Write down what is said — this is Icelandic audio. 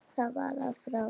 Það var af og frá.